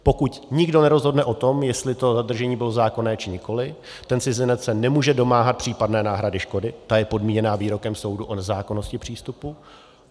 Pokud nikdo nerozhodne o tom, jestli to zadržení bylo zákonné, či nikoliv, ten cizinec se nemůže domáhat případné náhrady škody, ta je podmíněna výrokem soudu o nezákonnosti přístupu.